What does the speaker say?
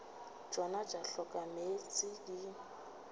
tšona tša hloka meetse di